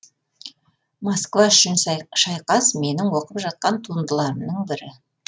москва үшін шайқас менің оқып жатқан туындыларымның бірі